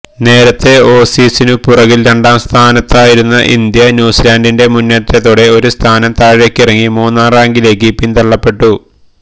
നേരത്തേ ഓസീസിനു പിറകില് രണ്ടാംസ്ഥാനത്തായിരുന്ന ഇന്ത്യ ന്യൂസിലാന്ഡിന്റെ മുന്നേറ്റത്തോടെ ഒരു സ്ഥാനം താഴേക്കിറങ്ങി മൂന്നാം റാങ്കിലേക്കു പിന്തള്ളപ്പെട്ടു